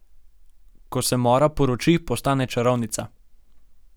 Ko se Mora poroči, postane čarovnica.